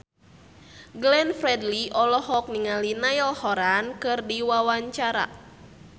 Glenn Fredly olohok ningali Niall Horran keur diwawancara